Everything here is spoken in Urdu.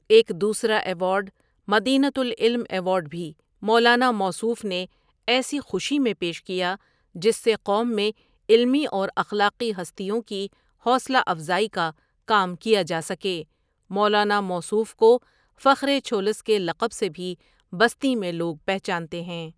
ایک دوسرا اوارڈ مدینہ ۃ العلم ایوارڈ بھی مولانا موصوف نے ایسی خوشی میں پیش کیا جس سے قوم میں علمی اور اخلاقی ہستیوں کی حوصلہ افزائی کا کام کیا جا سکے مولانا موصوف کو فخرے چھولس کے لقب سے بھی بستی میںلو گ پہچانتے ہے ۔